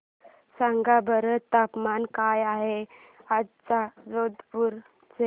सांगा बरं तापमान काय आहे आज जोधपुर चे